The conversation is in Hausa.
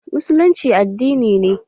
Musullinci addini ne.